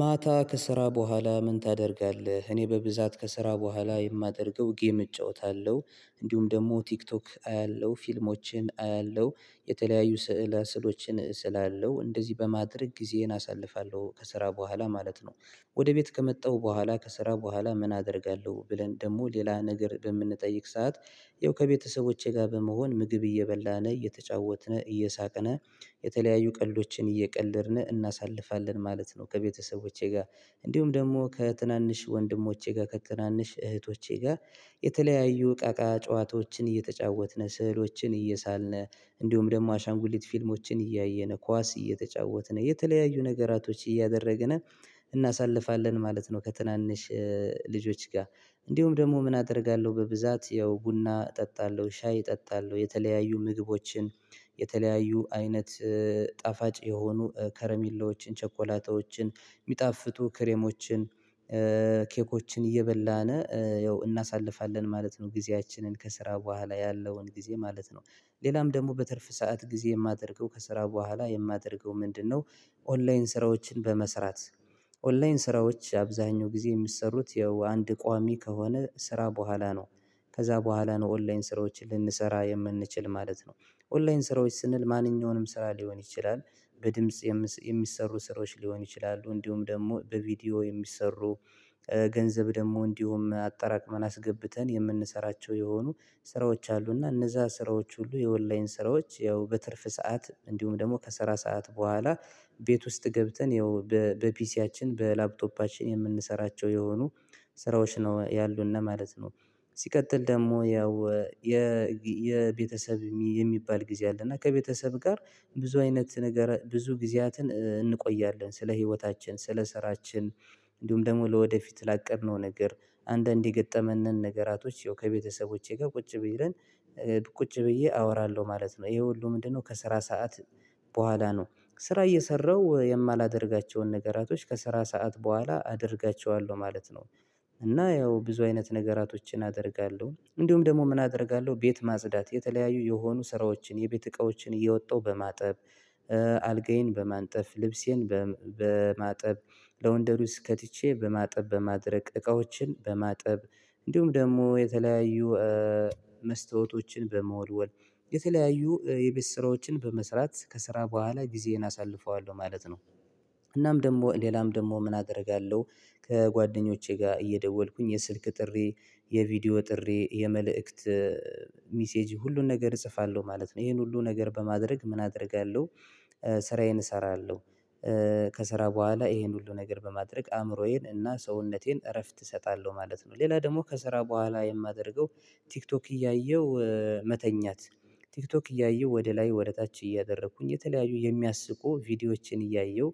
ማታ ከስራ በኋላ ምን ታደርጋለህ? እኔ በብዛት ከስራ በኋላ የማደርገው ጌም እጫወታለሁ። እንዲሁም ደግሞ ቲክቶክ አያለሁ፤ ፊልሞችን አያለሁ፤ የተለያዩ ስዕል ስዕሎችን እስላለው እንደዚህ በማድረግ ጊዜየን አሳልፋለሁ ከስራ በኋላ ማለት ነው። ወደ ቤት ከመጣሁ በኋላ ከስራ በኋላ ምን አደርጋለሁ ብለን ደግሞ ሌላ ነገር በምንጠይቅ ሰዓት ይኸው ከቤተሰቦቼ ጋር በመሆን ምግብ እየበላን እየተጫወትን እየሳቀን የተለያዩ ቀልዶችን እየቀለድን እናሳልፋለን ማለት ነው ከቤተሰቦቼ ጋር እንዲሁም ደግሞ ከትናንሽ ወንድሞቼ ጋር ከትናንሽ እህቶቼ ጋር የተለያዩ እቃቃ ጨዋታዎችን እየተጫወትን ስዕሎችን እየሳልነ እንዲሁም ደግሞ አሻንጉሊት ፊልሞችን እያየነ ኳስ እየተጫወትን የተለያዩ ነገራቶች እያደረግን እናሳልፋለን ማለት ነው ከትናንሽ ልጆች ጋር እንዲሁም ደግሞ ምን አደርጋለሁ በብዛት ያው ቡና እጠጣለሁ ሻይ እጠጣለሁ የተለያዩ ምግቦችን የተለያዩ አይነት ጣፋጭ የሆኑ ከረሚላዎችን ቸኮላታዎችን የሚጣፍጡ ክሬሞችን ኬኮችን እየበላን ያው እናሳልፋለን ማለት ነው ጊዜያችንን ከስራ በኋላ ያለውን ጊዜ ማለት ነው። ሌላም ደግሞ በትርፍ ሰዓት ጊዜ የማደርገው ከስራ በኋላ የማደርገው ምንድነው ኦንላይን ስራዎችን በመስራት ኦንላይን ስራዎች አብዛኛው ጊዜ የሚሰሩት ያው አንድ ቋሚ ከሆነ ስራ በኋላ ነው ከዛ በኋላ ነው ኦንላይን ስራዎችን ልንሰራ የምንችል ማለት ነው። ኦንላይን ስራዎች ስንል ማንኛውንም ስራ ሊሆን ይችላል በድምጽ የሚሰሩ ስራዎች ሊሆን ይችላሉ እንዲሁም ደግሞ በቪዲዮ የሚሰሩ ገንዘብ ደግሞ እንዲሁም አጠራቅመን አስገብተን የምንሰራቸው የሆኑ ስራዎች አሉና እነዛ ስራዎች ሁሉ የኦንላይን ስራዎች ያው በትርፍ ሰዓት እንዲሁም ደግሞ ከሰራ ሰዓት በኋላ ቤት ውስጥ ገብተን ያው በፒሲያችን በላፕቶፓችን የምንሰራቸው የሆኑ ስራዎች ነው ያሉት እና ማለት ነው ሲቀጥል ደግሞ ያው የቤተሰብ የሚባል ጊዜ አለ እና ከቤተሰብ ጋር ብዙ አይነት ንገረ ብዙ ጊዜያትን እንቆያለን ስለ ህይወታችን፤ ስለ ስራችን፤ እንዲሁም ደግሞ ለወደፊት ላቀድነው ነገር አንዳንድ የገጠመንን ነገራቶች ይው ከቤተሰቦቼ ጋር ቁጭ ብዬ ቁጭ ብዬ አወራለሁ ማለት። ነው ይሄ ሁሉ ምንድነው ከስራ ሰዓት በኋላ ነው ስራ እየሰራሁ የማላደርጋቸውን ነገራቶች ከስራ ሰዓት በኋላ አደርጋቸዋለሁ ማለት ነው። እና ያው ብዙ አይነት ነገራቶችን አደርጋለሁ እንዲሁም ደግሞ ምን አደርጋለሁ ቤት ማጽዳት የተለያዩ የሆኑ ስራዎችን የቤት እቃዎችን እየወጣው በማጠብ አልጋዬን በማንጠፍ፤ ልብሴን በማጠብ፤ ለወንደሪ ውስጥ ከትቼ በማጠብ፤ በማድረቅ እቃዎችን በማጠብ፤ እንዲሁም ደግሞ የተለያዩ መስተዋዕቶችን በመወድወል፤ የተለያዩ የቤት ስራዎችን በመስራት ከስራ በኋላ ጊዜዬን አሳልፈዋለሁ ማለት ነው። እናም ደግሞ ሌላም ደግሞ ምን አደርጋለሁ ከጓደኞቼ ጋር እየደወልኩኝ የስልክ ጥሪ የቪዲዮ ጥሪ የመልእክት ሚሴጅ ሁሉን ነገር እጽፋለሁ ማለት ነው ይሄን ሁሉ ነገር በማድረግ ምን አደርጋለሁ ስራዬን እሰራለሁ ከስራ በኋላ ይሄን ሁሉ ነገር በማድረግ አእምሮዬን እና ሰውነቴን እረፍት እሰጣለሁ ማለት ነው። ሌላ ደግሞ ከስራ በኋላ የማደርገው ቲክቶክ እያየሁ መተኛት ቲክቶክ እያየሁ ወደ ላይ ወደ ታች እያደረኩኝ የተለያዩ የሚያስቁ ቪዲዮዎችን እያየሁ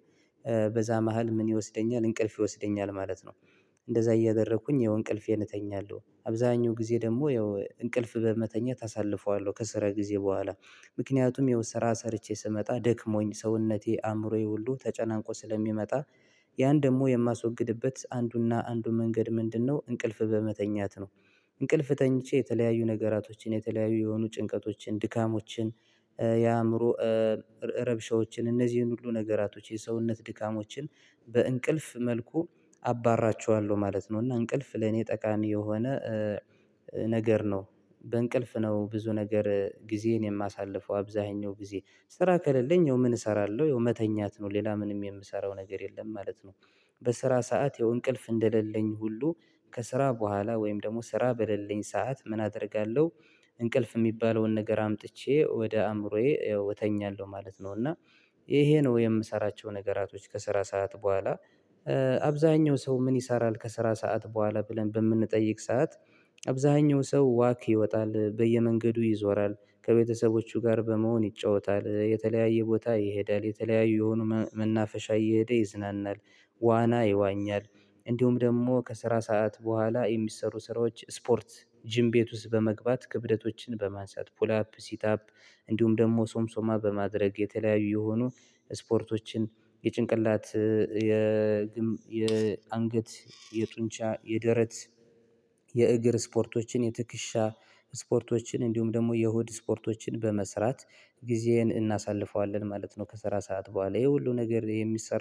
በዛ መሃል ምን ይወስደኛል እንቅልፍ ይወስደኛል ማለት ነው እንደዛ እያደረኩኝ ይሄው እንቅልፌን እተኛለሁ አብዛኛው ጊዜ ደግሞ ያው እንቅልፍ በመተኛት አሳልፈዋለሁ ከስራ ጊዜ በኋላ ምክንያቱም የወሰራ ሰርቼ ስመጣ ደክሞኝ ሰውነቴ አእምሮዬ ሁሉ ተጨናንቆ ስለሚመጣ ያን ደግሞ የማስወግድበት አንዱና አንዱ መንገድ ምንድነው እንቅልፍ በመተኛት ነው እንቅልፍ ተኝቼ የተለያዩ ነገራቶችን የተለያዩ የሆኑ ጭንቀቶችን ድካሞችን የአእምሮ ረብሻዎችን እነዚህን ሁሉ ነገራቶች የሰውነት ድካሞችን በእንቅልፍ መልኩ አባራቸዋለሁ ማለት ነው እና እንቅልፍ ለኔ ጠቃሚ የሆነ ነገር ነው በእንቅልፍ ነው ብዙ ነገር ጊዜን የማሳልፈው አብዛኛው ጊዜ ስራ ከሌለኝ የምን እሰራለሁ መተኛት ነው ሌላ ምንም የምሰራው ነገር የለም ማለት ነው በስራ ሰዓት የእንቅልፍ እንደሌለኝ ሁሉ ከስራ በኋላ ወይም ደግሞ ስራ በሌለኝ ሰዓት ምን አደርጋለሁ እንቅልፍ የሚባለውን ነገር አምጥቼ ወደ አእምሮዬ እተኛለሁ ማለት ነው እና ይሄ ነው የምሰራቸው ነገራቶች ከስራ ሰዓት በኋላ አብዛኛው ሰው ምን ይሰራል ከስራ ሰዓት በኋላ ብለን በምንጠይቅ ሰዓት አብዛኛው ሰው ዋክ ይወጣል በየመንገዱ ይዞራል ከቤተሰቦቹ ጋር በመሆን ይጫወታል የተለያየ ቦታ ይሄዳል የተለያየ የሆኑ መናፈሻ እየሄደ ይዝናናል ዋና ይዋኛል እንዲሁም ደግሞ ከስራ ሰዓት በኋላ የሚሰሩ ስራዎች ስፖርት ጂም ቤት ውስጥ በመግባት ክብደቶችን በማንሳት ፑል አፕ ሲት አፕ እንዲሁም ደግሞ ሶምሶማ በማድረግ የተለያዩ የሆኑ ስፖርቶችን የጭንቅላት የ የ የ አንገት የጡንቻ የደረት የእግር ስፖርቶችን የትክሻ ስፖርቶችን እንዲሁም ደግሞ የሆድ ስፖርቶችን በመስራት ጊዜዬን እናሳልፈዋለን ማለት ነው ከሰራ ሰዓት በኋላ ይሄ ሁሉ ነገር የሚሰራ